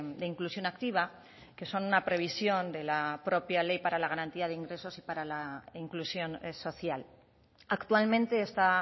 de inclusión activa que son una previsión de la propia ley para la garantía de ingresos y para la inclusión social actualmente está